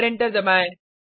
और एंटर दबाएँ